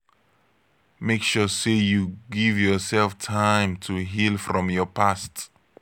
make sure say you give yourself time to heal from your past